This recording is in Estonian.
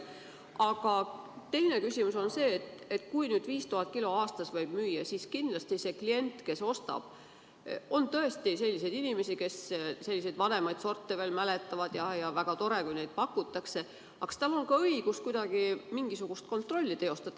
Aga teine küsimus on see: kui nüüd 5000 kilo saaki aastas võib müüa, siis kas sellele kliendil, kes ostab – on tõesti inimesi, kes selliseid vanemaid sorte veel mäletavad ja väga tore, kui neid pakutakse –, on õigus kuidagi ka mingisugust kontrolli teostada?